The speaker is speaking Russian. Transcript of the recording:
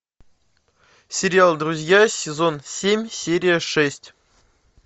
сериал друзья сезон семь серия шесть